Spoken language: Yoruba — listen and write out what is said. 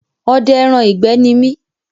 Ọdẹ ẹran ìgbẹ́ ní mi